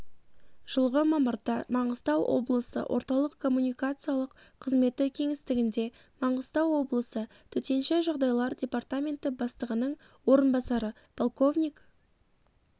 жылғы мамырда маңғыстау облысы орталық коммуникациялық қызметі кеңістігінде маңғыстау облысы төтенше жағдайлар департаменті бастығының орынбасары полковник